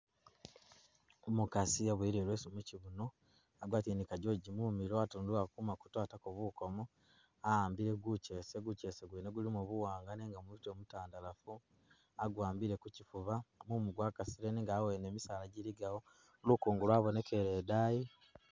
Umukasi abuwele ileesu mukyibuno agwatile ni a geogi mumilo atundulako kumatu atako bukomo ahambile guchese guchese gwene gulimo buwanga nenga mutwe mutandalafu aguwambile ku kyifuba mumu gwakasile nenga hawene misaala giligawo lukungu lwabonekelele idayi